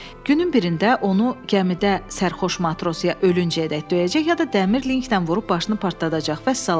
Günün birində onu gəmidə sərxoş matros ya ölüncəyədək döyəcək, ya da dəmir linkdən vurub başını partladacaq vəssalam.